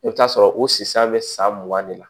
I bɛ t'a sɔrɔ o sisan bɛ san mugan de la